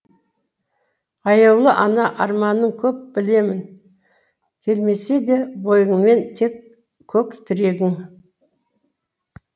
аяулы ана арманың көп білемін келмесе де бойыңмен көк тірегің